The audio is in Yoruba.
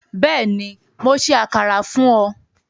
Bẹ́ẹ̀ni, Mó ṣẹ àkàrà fún ọ